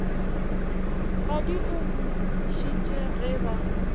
kgwadi o bušitše ge ba